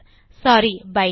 சோரி bytes